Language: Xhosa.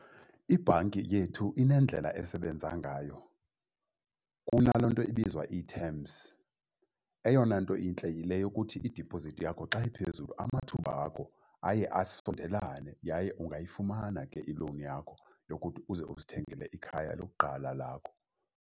Ibhanki yethu inendlela esebenza ngayo kunalaa nto ibizwa i-terms. Eyona nto intle yile yokuthi idipozithi yakho xa iphezulu amathuba wakho aye asondelane yaye ungayifumana ke ilowuni yakho yokuthi uze uzithengele ikhaya lokuqala lakho.